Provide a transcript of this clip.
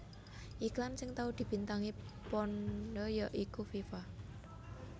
Iklan sing tau dibintangi panda ya iku Viva